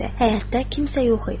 Həyətdə kimsə yox idi.